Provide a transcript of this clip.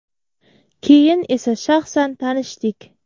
Keyin esa shaxsan tanishdik.